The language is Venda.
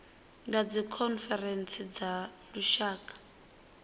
ya dzikhonferentsi dza tshaka dza